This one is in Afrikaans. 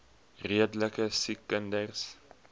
redelike siek kinders